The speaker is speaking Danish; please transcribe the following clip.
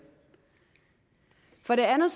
for det andet